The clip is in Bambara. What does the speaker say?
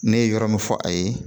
Ne ye yɔrɔ min fɔ a ye